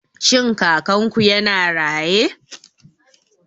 Shin Kakanku yana raye?